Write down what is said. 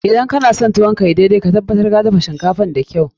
Idan kana son tuwo ka ya yi daidai, ka tabbata ka dafa shinkafan da kyau.